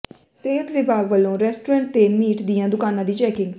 ਸਿਹਤ ਵਿਭਾਗ ਵਲੋਂ ਰੈਸਟੋਰੈਂਟ ਤੇ ਮੀਟ ਦੀਆਂ ਦੁਕਾਨਾਂ ਦੀ ਚੈਕਿੰਗ